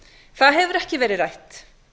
það hefur ekki verið rætt